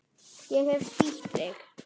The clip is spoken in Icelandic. Ég hef spýtt á þig.